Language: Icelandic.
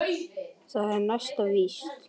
Það er næsta víst!